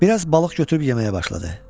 Bir az balıq götürüb yeməyə başladı.